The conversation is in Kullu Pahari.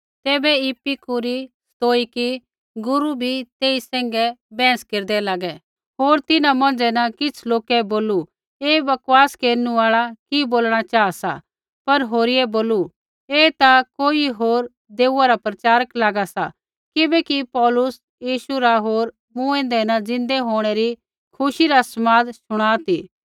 तैबै इपिकूरी स्तोइकी गुरू बी तेई सैंघै बैहस केरदै लागै होर तिन्हां मौंझ़ै न किछ़ लोकै बोलू ऐ बकवास केरनु आल़ा कि बोलणा चाहा सा पर होरियै बोलू ऐ ता कोई होर देऊआ रा प्रचारक लागा सा किबैकि पौलुस यीशु रा होर मूँऐदै न ज़िन्दै होंणै री खुशी रा समाद शुणा ती